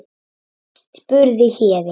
spurði Héðinn.